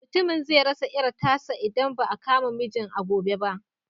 Mutumin zai rasa ƴar tasa idan ba a kama mijin a gobe ba.